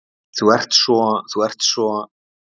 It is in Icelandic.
Þú ert svo. þú ert svo.